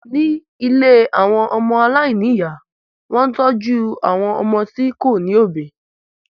Ni ìlé awọn ọmọ alaini iya, wọn ń tọju awọn ọmọ ti ko ni obi